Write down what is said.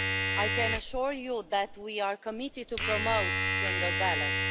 I can assure you that we are committed to promoting gender balance.